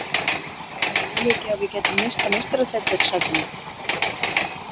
Er það möguleiki að við gætum misst af meistaradeildarsætinu?